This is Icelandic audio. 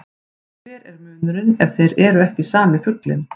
Hver er munurinn ef þeir eru ekki sami fuglinn?